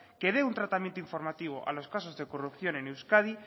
que dé un tratamiento informativo a los casos de corrupción en euskadi